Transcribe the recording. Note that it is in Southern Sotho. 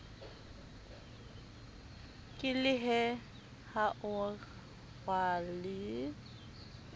ke lehe ha o rwale